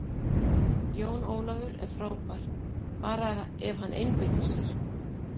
Jón Ólafur er frábær, bara ef hann einbeitir sér.